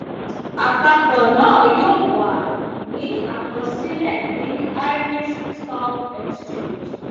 àpapò náà yóò wà ní àkọsílè ní irish stock exchange